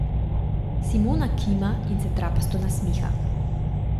Simon kima in se trapasto nasmiha.